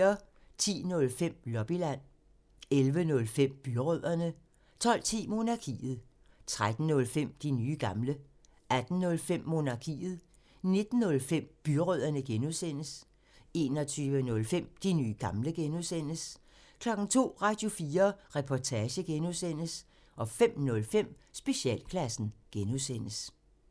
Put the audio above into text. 10:05: Lobbyland 11:05: Byrødderne 12:10: Monarkiet 13:05: De nye gamle 18:05: Monarkiet 19:05: Byrødderne (G) 21:05: De nye gamle (G) 02:00: Radio4 Reportage (G) 05:05: Specialklassen (G)